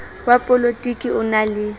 wa polotiki o na le